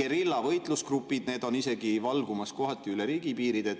geriljavõitlusgrupid, need on isegi valgumas kohati üle riigipiiride.